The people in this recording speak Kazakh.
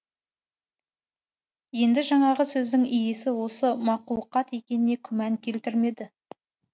енді жаңағы сөздің иесі осы мақұлқат екеніне күмән келтірмеді